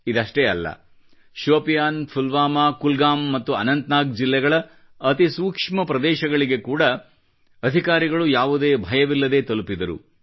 ಇದಷ್ಟೇ ಅಲ್ಲ ಶೋಪಿಯಾನ್ ಪುಲ್ವಾಮಾ ಕುಲಗಾಮ್ ಮತ್ತು ಅನಂತ್ ನಾಗ್ ಜಿಲ್ಲೆಗಳ ಅತಿ ಸೂಕ್ಷ್ಮ ಪ್ರದೇಶಗಳಿಗೆ ಕೂಡ ಅಧಿಕಾರಿಗಳು ಯಾವುದೇ ಭಯವಿಲ್ಲದೆ ತಲುಪಿದರು